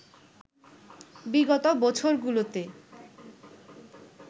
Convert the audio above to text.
বিগত বছরগুলোতে